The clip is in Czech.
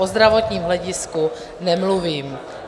O zdravotním hledisku nemluvím.